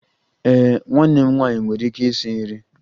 Ee, nwanne m nwanyị nwere ike isi nri